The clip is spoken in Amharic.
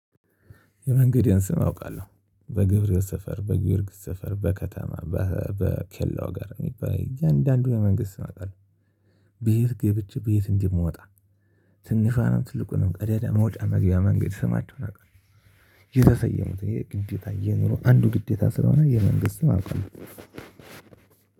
የመንገዴን ስም አውቃለሁ በገብርኤል ሰፈር በጊዮርጊስ ሰፈር በከተማ በኬላው ጋር የሚባል እያንዳንዱን የመንገድ ስም አውቃለሁ። በየት ገብቼ በየት እንደምወጣ? ትንሿንም ትልቁንም ቀዳዳ መውጫ መግቢያ መንገድ ስማቸውን አውቃለሁ። የተሰየሙት ይሄ ግዴታ የኑሮ አንዱ ግዴታ ስለሆነ የመንገድ ስም አውቃለው።